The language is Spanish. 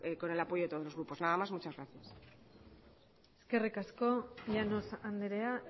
con el apoyo de todo los grupos nada más muchas gracias eskerrik asko llanos andrea